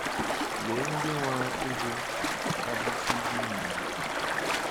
Lee ndị nwara ịgụ a b ch d nIgbo.